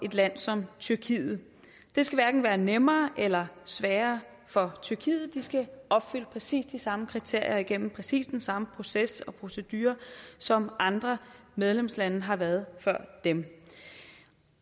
et land som tyrkiet det skal hverken være nemmere eller sværere for tyrkiet de skal opfylde præcis de samme kriterier og igennem præcis samme proces og procedure som andre medlemslande har været før dem